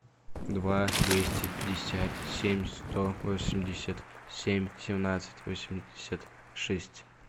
два двести пятьдесят семь сто восемьдесят семь семнадцать восемьдесят шесть